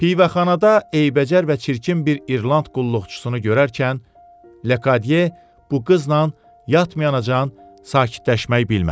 Pivəxanada eybəcər və çirkin bir İrland qulluqçusunu görərkən Lekadyer bu qızla yatmayana can sakitləşmək bilmədi.